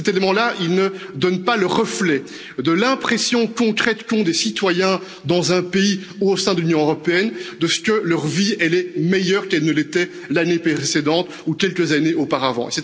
Cet élément là, il ne donne pas le reflet de l'impression concrète qu'ont les citoyens, dans un pays ou au sein de l'Union européenne, que leur vie est meilleure qu'elle ne l'était l'année précédente ou quelques années auparavant.